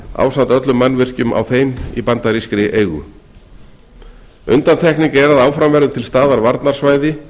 ásamt öllum mannvirkjum á þeim í bandarískri eigu undantekning er að áfram verður til staðar varnarsvæði